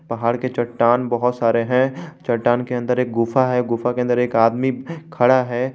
पहाड़ के चट्टान बहुत सारे हैं चट्टान के अंदर एक गुफा है गुफा के अंदर एक आदमी खड़ा है।